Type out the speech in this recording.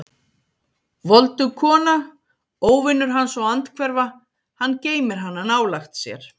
Voldug kona, óvinur hans og andhverfa: hann geymir hana nálægt sér.